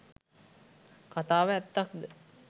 කතාව ඇත්තක්ද?